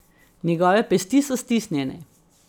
Njegove pesti so stisnjene.